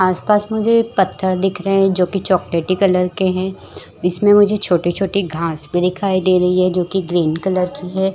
आस-पास मुझे पत्थर दिख रहे है जो की चॉकलेटी कलर के है इसमें मुझे छोटी-छोटी घाँस भी दिखाई दे रही है जो की ग्रीन कलर की हैं।